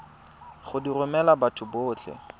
go di romela batho botlhe